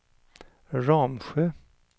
Ramsjö